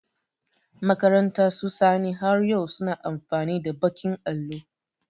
Makarantar su Sani, har yau su na amfani da baƙin allo.